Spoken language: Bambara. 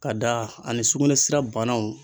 Ka da ani sugunɛ sira banaw